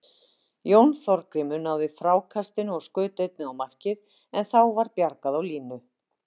Jón Þorgrímur náði frákastinu og skaut einnig á markið en þá var bjargað á línu.